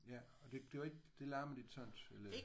Ja og det det var ikke det larmede ikke sådan eller?